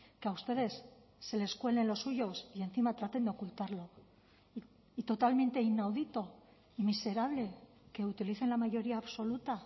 que a ustedes se les cuelen los suyos y encima traten de ocultarlo y totalmente inaudito y miserable que utilicen la mayoría absoluta